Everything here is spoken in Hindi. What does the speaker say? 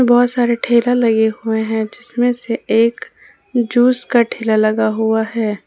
बहोत सारे ठेला लगे हुए हैं जिसमें से एक जूस का ठेला लगा हुआ हैं।